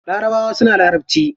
Larabawa suna larabci.